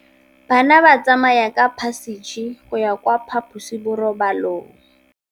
Bana ba tsamaya ka phašitshe go ya kwa phaposiborobalong.